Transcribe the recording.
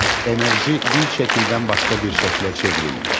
Enerji bir şəkildən başqa bir şəklə çevrilmir.